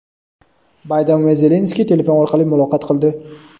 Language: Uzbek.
Bayden va Zelenskiy telefon orqali muloqot qildi.